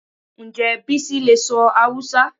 Ǹjẹ́ Bísí lè sọ Hausa